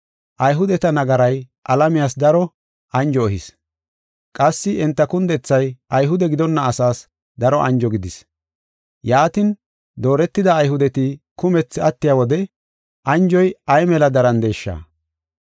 Ayhudeta nagaray alamiyas daro anjo ehis; qassi enta kundethay Ayhude gidonna asaas daro anjo gidis. Yaatin, dooretida Ayhudeti kumethi attiya wode anjoy ay mela darandeesha!